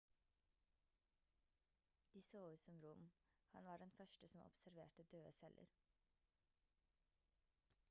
de så ut som rom han var den første som observerte døde celler